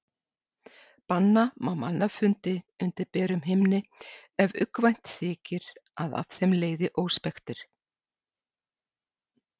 Banna má mannfundi undir berum himni ef uggvænt þykir að af þeim leiði óspektir.